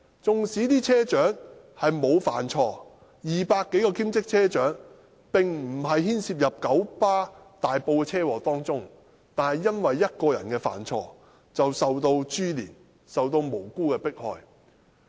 縱使200多位兼職車長沒有犯錯，並無牽涉在大埔的九巴車禍中，但只因為1個人犯了錯，便受到株連，遭到無辜迫害。